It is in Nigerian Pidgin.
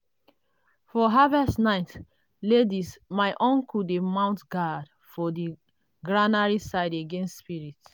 for harvest night laidis my uncle dey mount guard for the granary side against spirits.